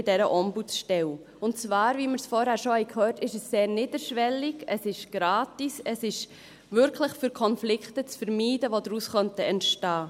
Und zwar ist es, wie wir vorhin schon gehört haben, sehr niederschwellig, es ist gratis, es dient wirklich dazu, Konflikte zu vermeiden, die daraus entstehen könnten.